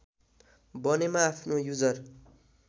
बनेमा आफ्नो युजर